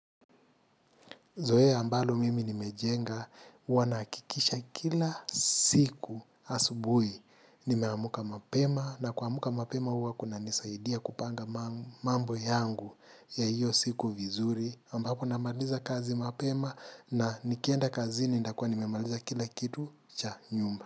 Zoea ambalo mimi nimejenga, huwa nahakikisha kila siku asubuhi, nimeamka mapema, na kuamka mapema huwa kunanisaidia kupanga mambo yangu ya hiyo siku vizuri, ambapo namaliza kazi mapema na nikienda kazini ndakuwa nimemaliza kila kitu cha nyumba.